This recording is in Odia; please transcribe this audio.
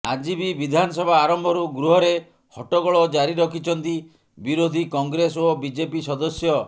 ଆଜି ବି ବିଧାନସଭା ଆରମ୍ଭରୁ ଗୃହରେ ହଟ୍ଟଗୋଳ ଜାରି ରଖିଛନ୍ତି ବିରୋଧୀ କଂଗ୍ରେସ ଓ ବିଜେପି ସଦସ୍ୟ